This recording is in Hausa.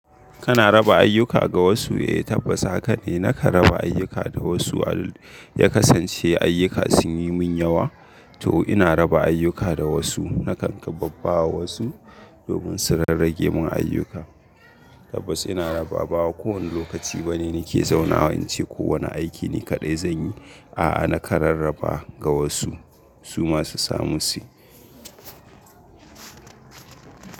Kana raba ayyuka ga wasu? Eh tabbas haka ne. Nakan raba ayyuka da wasu. Ya kasance ayyuka sun yi mun yawa to ina raba ayyuka da wasu. Nakan kabbawa wasu domin su rarrage mun ayyuka. Tabbas ina raba. Ba kowane lokaci bane nake zaunawa in ce kowane aiki ni kaɗai zanyi. A'a naka rarraba ga wasu. Su ma su samu su yi.